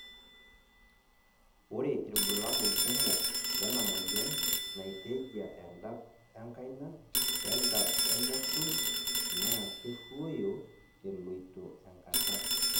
ore irbulabol kumok lena moyian naitejia edap enkaina we dap enekuj na keruuoyo eloito enkata.